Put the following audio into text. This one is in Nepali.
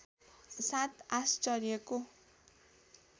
सात आश्चर्यको